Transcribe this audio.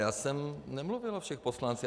Já jsem nemluvil o všech poslancích.